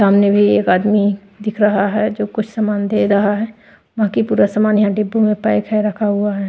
सामने भी एक आदमी दिख रहा है जो कुछ सामान दे रहा है बाकी पूरा सामान यहां डिब्बू में पैक है रखा हुआ है।